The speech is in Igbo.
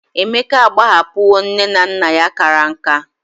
Emeka agbahapuho ne na nna ya kara nka